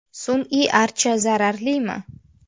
Sun’iy archa zararlimi?.